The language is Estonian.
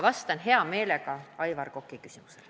Vastan hea meelega Aivar Koka küsimusele.